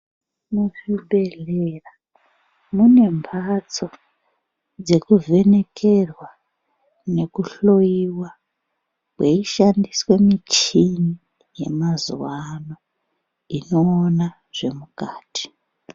Muzvibhedhlera mune mhatso dzekuvhenekerwa nekuhloiwa kweishandiswe muchini yemazuwa ano inoona zvemukati.